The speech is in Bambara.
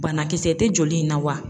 Banakisɛ tɛ joli in na wa ?